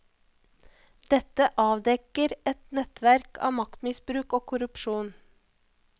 Dette avdekker et nettverk av maktmisbruk og korrupsjon.